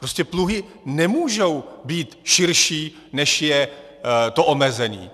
Prostě pluhy nemůžou být širší, než je to omezení!